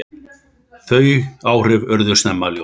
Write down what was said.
Þau áhrif urðu snemma ljós.